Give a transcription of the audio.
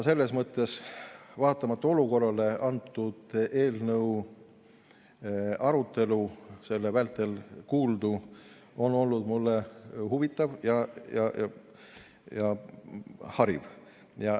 Selles mõttes, vaatamata olukorrale on antud eelnõu arutelu vältel kuuldu olnud mulle huvitav ja hariv.